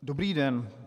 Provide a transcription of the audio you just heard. Dobrý den.